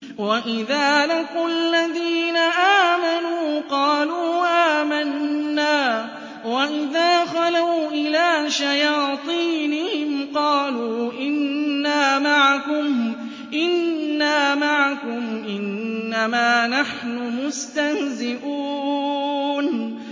وَإِذَا لَقُوا الَّذِينَ آمَنُوا قَالُوا آمَنَّا وَإِذَا خَلَوْا إِلَىٰ شَيَاطِينِهِمْ قَالُوا إِنَّا مَعَكُمْ إِنَّمَا نَحْنُ مُسْتَهْزِئُونَ